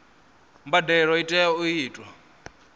mbadelo i tea u itwa